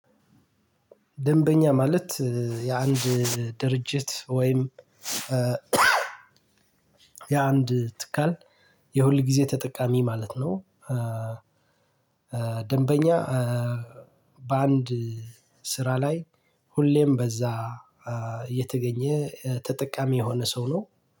ደንበኛ ማለት የአንድ ድርጅት ወይም የአንድ ትካል የሁልጊዜ ተጠቃሚ ማለት ነው። ደንበኛ በአንድ ስራ ላይ ሁሌም በዛ የተገኘ ተጠቃሚ የሆነ ሰው ነው።